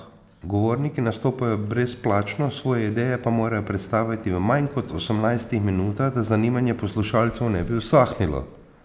Govorniki nastopajo brezplačno, svoje ideje pa morajo predstaviti v manj kot osemnajstih minutah, da zanimanje poslušalcev ne bi usahnilo.